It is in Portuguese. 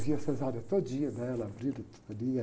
Vi a cesárea todinha dela.